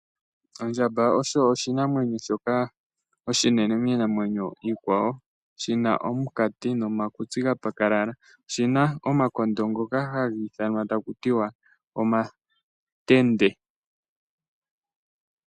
Ondjamba osho oshinamwenyo shoka oshinene miinamwenyo iikwawo Shina omunkati nomakutsi ga pakalala . Oshina omakondo ngoka haga ithanwa takutiwa omatende